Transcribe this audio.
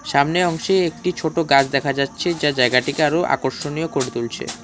সামনের অংশে একটি ছোট গাছ দেখা যাচ্ছে যা জায়গাটিকে আরো আকর্ষণীয় করে তুলছে।